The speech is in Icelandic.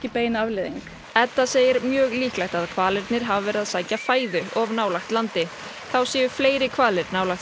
bein afleiðing Edda segir mjög líklegt að hvalirnir hafi verið að sækja fæðu of nálægt landi þá séu fleiri hvalir nálægt